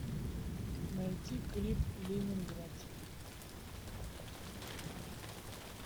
найти клип ленинград